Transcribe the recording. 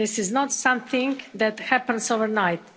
This is not something that happens overnight.